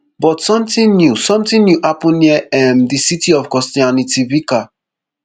but sometin new sometin new happun near um di city of kostyantynivka